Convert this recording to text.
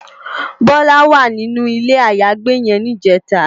Bola wá ninú ilé àyágbé yèn nijètá